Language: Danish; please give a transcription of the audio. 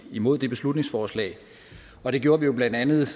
imod det beslutningsforslag og det gjorde vi jo blandt andet